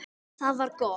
Það var gott.